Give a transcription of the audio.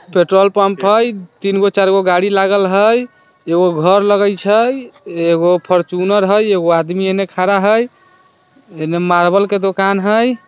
petrol pump हेय तीन गो चार गो गाड़ी लागल हेय एगो घर लगाई छै एक फॉर्च्यूनर है एगो आदमी एने खड़ा छै एगो मार्बल के दुकान हेय